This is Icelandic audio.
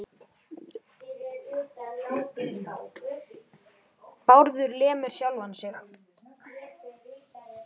Þær ætla að ganga heim.